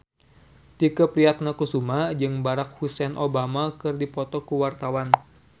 Tike Priatnakusuma jeung Barack Hussein Obama keur dipoto ku wartawan